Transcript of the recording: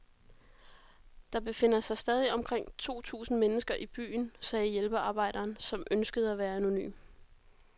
Der befinder sig stadig omkring to tusind mennesker i byen, sagde hjælpearbejderen, som ønskede at være anonym.